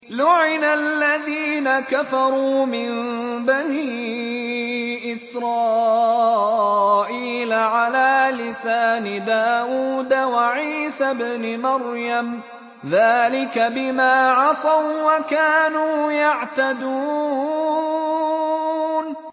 لُعِنَ الَّذِينَ كَفَرُوا مِن بَنِي إِسْرَائِيلَ عَلَىٰ لِسَانِ دَاوُودَ وَعِيسَى ابْنِ مَرْيَمَ ۚ ذَٰلِكَ بِمَا عَصَوا وَّكَانُوا يَعْتَدُونَ